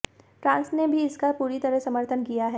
France ने भी इसका पूरी तरह समर्थन किया है